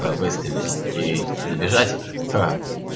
аа выстрелить ии забежать ха-а